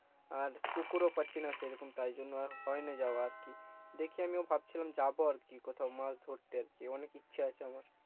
আর পুকুরও পাচ্ছি না সেইরকম তাই জন্য আর হয়নি যাওয়া আরকি দেখি আমিও ভাবছিলাম যাবো আরকি কোথাও মাছ ধরতে আরকি অনেক ইচ্ছে আছে আমার